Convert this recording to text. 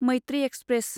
Maitri express